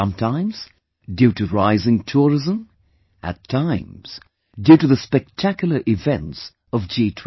Sometimes due to rising tourism, at times due to the spectacular events of G20